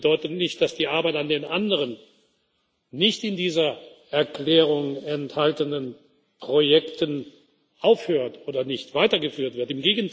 Es bedeutet nicht, dass die Arbeit an den anderen, nicht in dieser Erklärung enthaltenen Projekten aufhört oder nicht weitergeführt